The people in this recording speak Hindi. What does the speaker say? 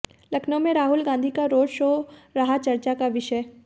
लखनऊ में राहुल गांधी का रोड शो रहा चर्चा का विषय